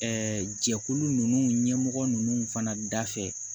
jɛkulu ninnu ɲɛmɔgɔ ninnu fana dafɛ